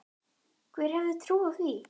Hver hefði trúað því.